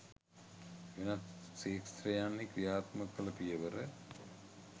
වෙනත් ක්ෂේත්‍රයන්හි ක්‍රියාත්මක කළ පියවර